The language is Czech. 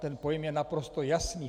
Ten pojem je naprosto jasný.